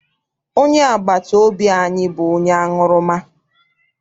Onye agbata obi anyị bụ onye aṅụrụma.